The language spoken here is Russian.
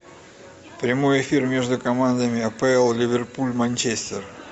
прямой эфир между командами апл ливерпуль манчестер